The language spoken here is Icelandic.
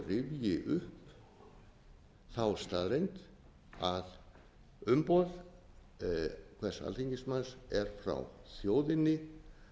rifji upp þá staðreynd að umboð hvers alþingismanns er frá þjóðinni